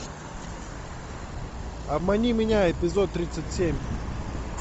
обмани меня эпизод тридцать семь